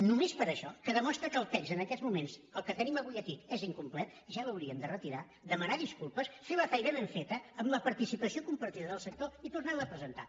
només per això que demostra que el text en aquest moments el que tenim avui aquí és incomplet ja l’haurien de retirar demanar disculpes fer la feina ben feta amb la participació compartida del sector i tornar la a presentar